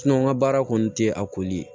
n ka baara kɔni tɛ a koli ye